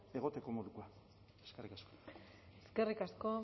egoteko modukoa eskerrik asko eskerrik asko